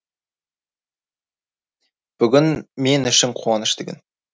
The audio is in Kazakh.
бүгін мен үшін қуанышты күн